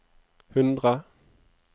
hundre